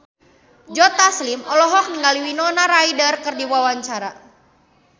Joe Taslim olohok ningali Winona Ryder keur diwawancara